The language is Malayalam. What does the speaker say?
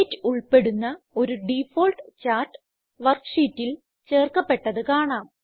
ഡേറ്റ് ഉൾപ്പെടുന്ന ഒരു ഡിഫാൾട്ട് ചാർട്ട് worksheetൽ ചേർക്കപ്പെട്ടത് കാണാം